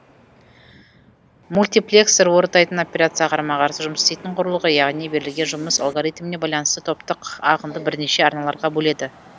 мультиплексор орындайтын операцияға қарама қарсы жұмыс істейтін құрылғы яғни берілген жұмыс алгоритміне байланысты топтық ағынды бірнеше арналарға бөледі